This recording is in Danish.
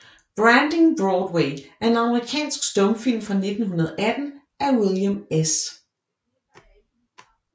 Branding Broadway er en amerikansk stumfilm fra 1918 af William S